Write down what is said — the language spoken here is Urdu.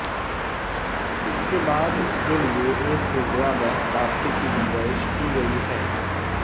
اس کے بعد اس کے لئے ایک سے زیادہ رابطے کی گنجائش کی گئی ہے